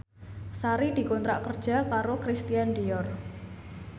Sari dikontrak kerja karo Christian Dior